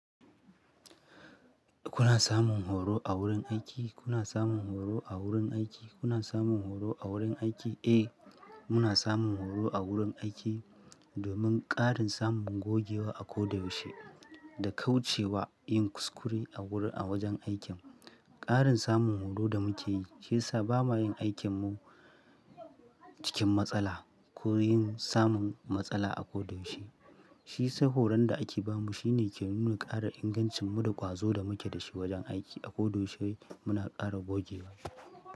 Kuna samun horo a wurin aiki? Kuna samun horo a wurin aiki? Kuna samun horo a wurin aiki? Eh, muna samun horo a wurin aiki domin ƙarin samun gogewa a ko da yaushe da kauce wa yin kuskure a wajen aikin. Ƙarin samun horo da muke yi shi ya sa ba ma yin aikin mu cikin matsala ko yin samun matsala a ko da yaushe. Shi sai horon da ake ba mu shine ke nuna ƙara ingancin mu da ƙwazo da muke da shi wajen aiki a ko da yaushe muna ƙara gogewa.